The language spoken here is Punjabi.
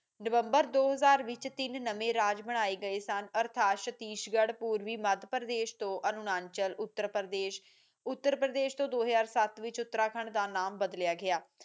ਨਵੰਬਰ ਦੋ ਹਜ਼ਾਰ ਵਿਚ ਤਿੰਨ ਨਵੇਂ ਰਾਜ ਬਣਾਈਏ ਗਏ ਸਨ ਅਰਥਾਤ ਸਤੀਸ਼ ਗੜ੍ਹ ਪੂਰਵੀ ਮਧ੍ਯ ਪ੍ਰਦੇਸ਼ ਤੋਂ ਅਰੁਣਾਚਲ ਉੱਤਰਪ੍ਰਦੇਸ ਵਿਚ ਦੋ ਹਜ਼ਾਰ ਸੱਤ ਵਿੱਚ ਉੱਤਰਾਖੰਡ ਬਦਲਿਆ ਗਿਆ